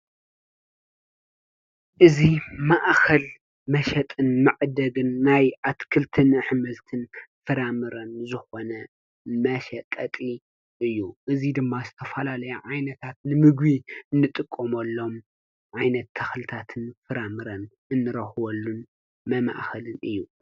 እዚ ማእኸል መሸጥን መዕደግን ናይ ኣትክልትን ኣሕምልትን ፍራምረን ዝኾነ መሸቀጢ እዩ። እዚ ድማ ዝተፈላለየ ዓይነታት ንምግቢ እንጥቀመሎም ዓይነት ተኽልታትን ፍራምረን እንረኽበሉ መማእኸሊ እዩ።